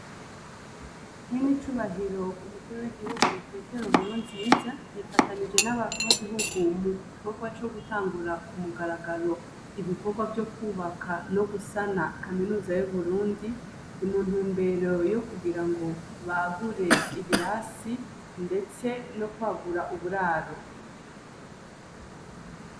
Nye ne icubahiro umukuru w'igihugu petero nuwe nziza yifatanije n'abahamyagihugu mu korwa co gutangura ku mugaragaro ibikorwa vyo kwubaka no gusana kaminuza yo burundi i muntu mbero yo kugira ngo bagure ibirasi, ndetse no kwagura kue guraro.